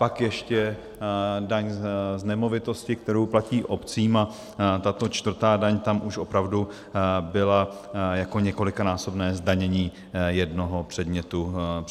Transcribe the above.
Pak ještě daň z nemovitosti, kterou platí obcím, a tato čtvrtá daň tam už opravdu byla jako několikanásobné zdanění jednoho předmětu daně.